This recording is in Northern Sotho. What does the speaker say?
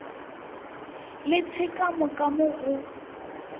le tshekamo ka mo go